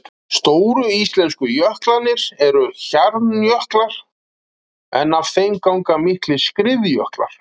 Stóru íslensku jöklarnir eru hjarnjöklar en af þeim ganga miklir skriðjöklar.